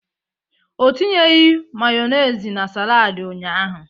Ọ tinyeghị Mayonezi na saladi ụnyaahụ.